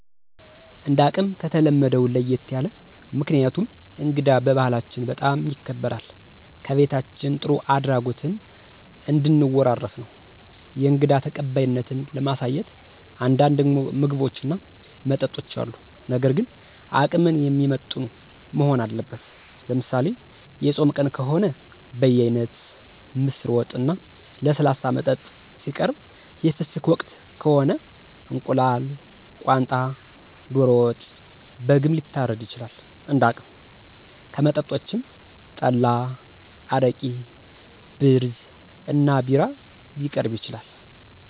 እንደ አቅም ከተለመደው ለየት ያለ። ምክንያቱም እንግዳ በባህላችን በጣም ይከበራል ከቤታችን ጥሩ አድራጎትን እንድን ወራረስ ነው። የእንግዳ ተቀባይነትን ለማሳየት አንዳንድ ምግቦች እና መጠጦች አሉ ነገር ግን አቅምን የሚመጥኑ መሆን አለበት። ለምሳሌ፦ የፆም ቀን ከሆነ በየአይነት፣ ምስር ወጥ፣ እና ለስላሳ መጠጥ ሲቀርብ የፍስክ ወቅት ከሆነ፦ እንቁላል፣ ቋንጣ፣ ዶሮ ወጥ፣ በግም ሊታረድ ይችላል እንደ አቅም። ከመጠጦችም፣ ጠላ አረቂ፣ ብርዝ እና ቢራ ሊቀርብ ይችላል።